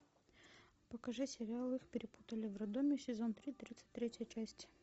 покажи сериал их перепутали в роддоме сезон три тридцать третья часть